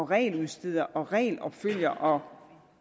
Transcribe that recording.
regeludsteder og regelopfølger